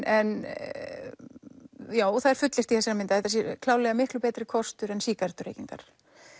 en já það er fullyrt í þessari mynd að þetta sé klárlega miklu betri kostur en sígarettureykingar